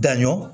Daɲɔgɔn